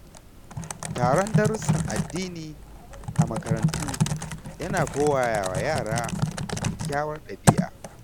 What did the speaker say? Taron darussan addini a makarantu ya na koya wa yara kyakykyawar ɗabi'a.